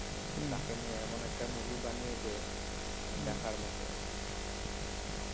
তো তাকে নিয়ে এমন একটা movie বানিয়েছে মানে দেখার মত আর কি